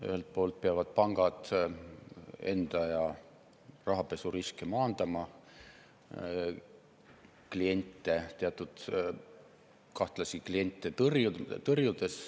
Ühelt poolt peavad pangad rahapesuriske maandama, teatud kahtlasi kliente tõrjudes.